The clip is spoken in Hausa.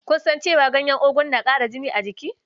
Ku san cewa ganyen ogu na ƙara jini a jiki?